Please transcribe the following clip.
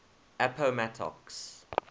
appomattox